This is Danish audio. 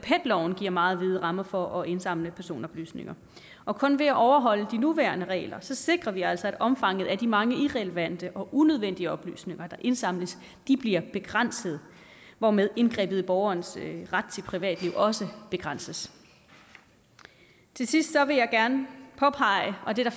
loven giver meget vide rammer for at indsamle personoplysninger og kun ved at overholde de nuværende regler sikrer vi altså at omfanget af de mange irrelevante og unødvendige oplysninger der indsamles bliver begrænset hvormed indgrebet i borgerens ret til privatliv også begrænses til sidst vil jeg gerne påpege og det er